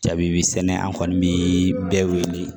Jabi sɛnɛ an kɔni bi bɛɛ wele